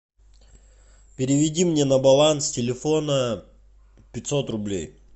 переведи мне на баланс телефона пятьсот рублей